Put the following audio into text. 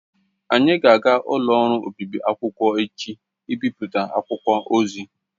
Anyị ga-aga n'ụlọ ọrụ obịbị akwụkwọ echi ịbịpụta akwụkwọ ozi.